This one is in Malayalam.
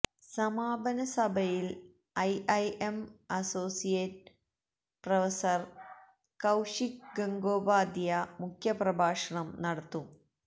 സമാപന സഭയില് IIM associate professor Kaushik Gangopadhyay മുഖ്യപ്രഭാഷണം നടത്തും